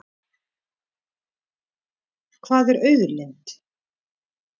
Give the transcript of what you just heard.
Hvað er auðlind?